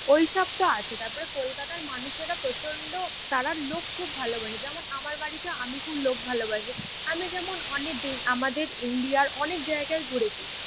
ঐসবতো আছে। তারপরে কলকাতার মানুষেরা প্রচন্ড তারা লোক খুব ভালোবাসে। যেমন আমার বাড়িতে আমি খুব লোক ভালোবাসি। আমি যেমন অলরেডি আমাদের ইন্ডিয়ার অনেক জায়গায় ঘুরেছি।